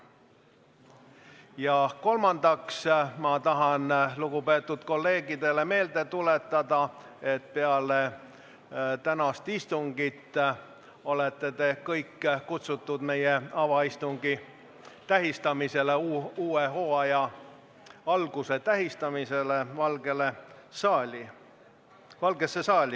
Ja kolmandaks tahan ma lugupeetud kolleegidele meelde tuletada, et peale tänast istungit olete kõik kutsutud meie avaistungi tähistamisele, uue hooaja alguse tähistamisele Valgesse saali.